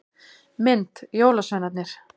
Mynd: Jólasveinarnir.